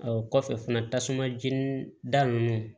Ɔ kɔfɛ fana tasuma jeni da nunnu